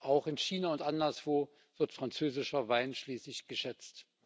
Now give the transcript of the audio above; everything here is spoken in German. Auch in China und anderswo wird französischer Wein schließlich geschätzt.